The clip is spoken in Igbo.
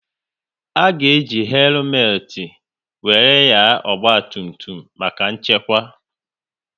A ga eji helumet wéré nyaa ọgba tum tum maka nchekwa